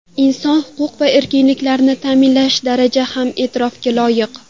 Inson huquq va erkinliklarini ta’minlash darajasi ham e’tirofga loyiq.